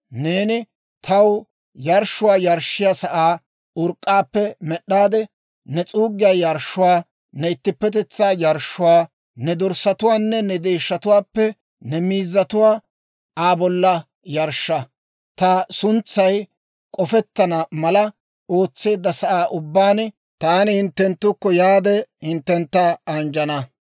« ‹Neeni taw yarshshuwaa yarshshiyaa sa'aa urk'k'aappe med'd'aade ne s'uuggiyaa yarshshuwaa, ne ittippetetsaa yarshshuwaa, ne dorssatuwaanne ne deeshshatuwaappe ne miizzatuwaa Aa bolla yarshsha. Ta suntsay k'ofettana mala ootseedda sa'aa ubbaan, taani hinttenttukko yaade, hinttentta anjjana.